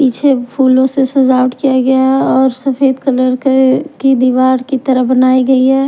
पीछे फूलों से सजावट किया गया है और सफेद कलर के की दीवार की तरह बनाई गई है।